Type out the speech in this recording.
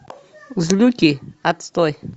злюки отстой